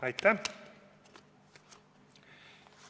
Aitäh!